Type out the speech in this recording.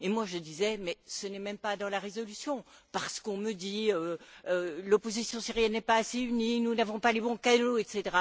Et je disais ce n'est même pas dans la résolution, parce qu'on me dit que l'opposition syrienne n'est pas assez unie, nous n'avons pas les bons canaux, etc.